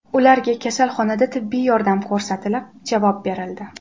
Ularga kasalxonada tibbiy yordam ko‘rsatilib, javob berildi.